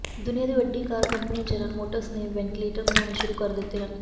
ਦੁਨੀਆ ਦੀ ਵੱਡੀ ਕਾਰ ਕੰਪਨੀ ਜਨਰਲ ਮੋਟਰਸ ਨੇ ਵੈਂਟੀਲੇਟਰ ਬਣਾਉਣੇ ਸ਼ੁਰੂ ਕਰ ਦਿੱਤੇ ਹਨ